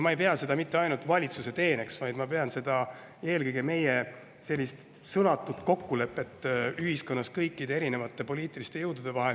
Ma ei pea seda mitte ainult valitsuse teeneks, vaid ma pean seda eelkõige meie sõnatuks kokkuleppeks ühiskonnas kõikide poliitiliste jõudude vahel.